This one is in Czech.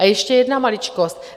A ještě jedna maličkost.